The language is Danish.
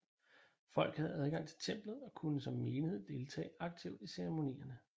Folket havde adgang til templet og kunne som menighed deltage aktivt i ceremonierne